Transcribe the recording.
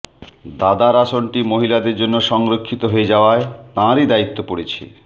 দাদার আসনটি মহিলাদের জন্য সংরক্ষিত হয়ে যাওয়ায় তাঁরই দায়িত্ব পড়েছে